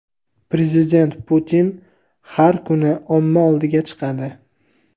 Prezident Putin har kuni omma oldiga chiqadi.